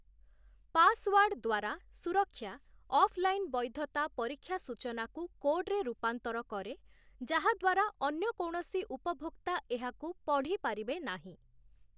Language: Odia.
ପାସୱାର୍ଡ଼ ଦ୍ଵାରା ସୁରକ୍ଷା ଅଫ୍ ଲାଇନ୍ ବୈଧତା ପରୀକ୍ଷା ସୂଚନାକୁ କୋଡ଼୍‌ରେ ରୂପାନ୍ତର କରେ ଯାହା ଦ୍ଵାରା ଅନ୍ୟ କୌଣସି ଉପଭୋକ୍ତା ଏହାକୁ ପଢ଼ିପାରିବେ ନାହିଁ ।